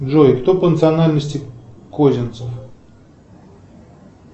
джой кто по национальности козинцев